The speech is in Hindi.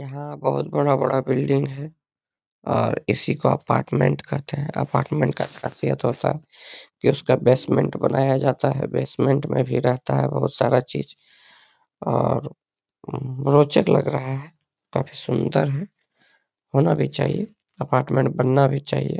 जहाँ बहुत बड़ा बड़ा बिल्डिंग है और इसी को अपार्टमेंट कहते हैं | अपारमेन्ट का खासियत होता है की उसका बेसमेंट बनाया जाता है | बेसमेंट में भी रहता है बहुत सारा चीज़ और रोचक लग रहा है काफी सुन्दर है होना भी चाहिए अपार्टमेंट बनना भी चाहिए ।